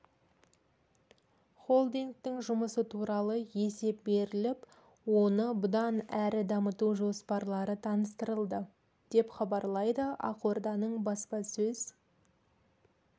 холдингтің жұмысы туралы есеп беріліп оны бұдан әрі дамыту жоспарлары таныстырылды деп хабарлайды ақорданың баспасөз